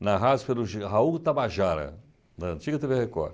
narrados pelo já Raul Tabajara, da antiga tê vê Record.